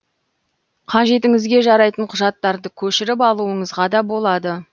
қажетіңізге жарайтын құжаттарды көшіріп алуыңызға да болады